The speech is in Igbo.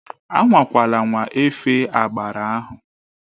Anwakwala anwa efe agbara ahụ!